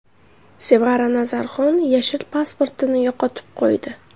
Sevara Nazarxon yashil pasportini yo‘qotib qo‘ydi.